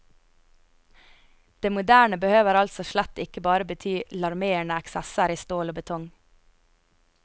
Det moderne behøver altså slett ikke bare bety larmende eksesser i stål og betong.